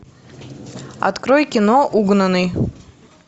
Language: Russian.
открой кино угнанный